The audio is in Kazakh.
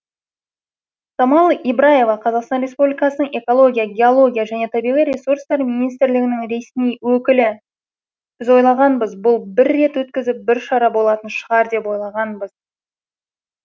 самал ибраева қазақстан республикасының экология геология және табиғи ресурстар министрлігінің ресми өкілі біз ойлағанбыз бұл бір рет өткізіп бір шара болатын шығар деп ойлағанбыз